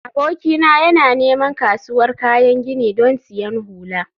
abokina yana neman kasuwar kayan gini don siyan hula